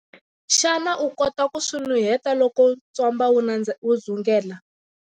Xana u kota ku swi nuheta loko ntswamba wu dzungela?